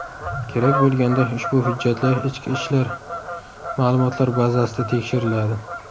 Kerak bo‘lganda, ushbu hujjatlar ichki ishlar ma’lumotlar bazasida tekshiriladi.